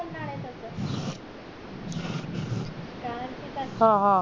हा हा